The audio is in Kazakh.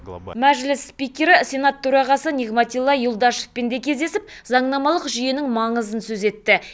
мәжіліс спикері сенат төрағасы нигматилла юлдашевпен де кездесіп заңнамалық жүйенің маңызын сөз етті